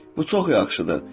Bu çox yaxşıdır.